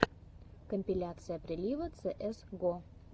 компиляция прилива цеэс го